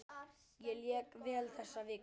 Ég lék vel þessa vikuna.